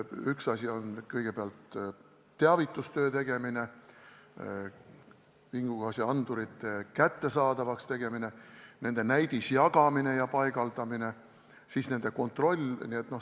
Üks asi on kõigepealt teavitustöö tegemine, vingugaasiandurite kättesaadavaks tegemine, nende näidisjagamine ja paigaldamine, siis nende kontroll.